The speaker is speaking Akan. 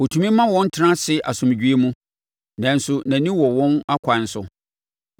Ɔtumi ma wɔn tena ase asomdwoeɛ mu, nanso nʼani wɔ wɔn akwan so.